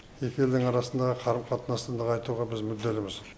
екі елдің арасындағы қарым қатынасты нығайтуға біз мүдделіміз